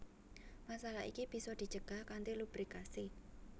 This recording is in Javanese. Masalah iki bisa dicegah kanthi lubrikasi